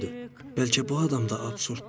Bəlkə bu adam da absurddur.